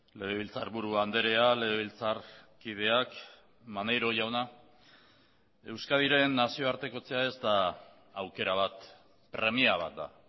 legebiltzarburu andrea legebiltzarkideak maneiro jauna euskadiren nazioartekotzea ez da aukera bat premia bat da